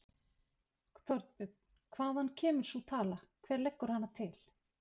Þorbjörn: Hvaðan kemur sú tala, hver leggur hana til?